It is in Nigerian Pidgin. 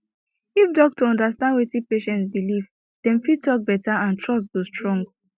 if doctor understand wetin patient believe dem fit talk better and trust go strong